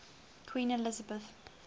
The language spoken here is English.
queen elizabeth